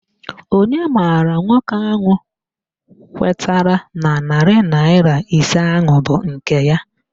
Onye maara nwoke ahụ kwetara na narị naịra ise ahụ bụ nke ya